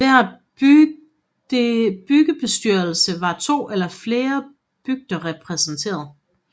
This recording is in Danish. I hver bygdebestyrelse var to eller flere bygder repræsenteret